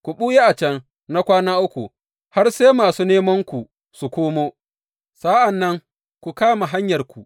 Ku ɓuya a can na kwana uku, har sai masu nemanku su komo, sa’an nan ku kama hanyarku.